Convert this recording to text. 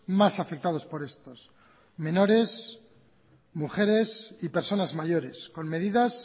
más afectados por estos menores mujeres y personas mayores con medidas